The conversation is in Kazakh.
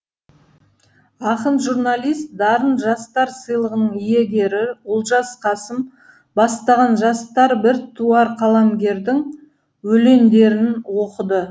ақын журналист дарын жастар сыйлығының иегері олжас қасым бастаған жастар біртуар қаламгердің өлеңдерін оқыды